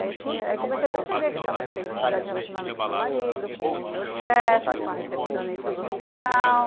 E aí comecei a perceber que eu estava tendo dificuldade de relacionamento com o meu marido, com o meu chefe, com a recepcionista do hospital.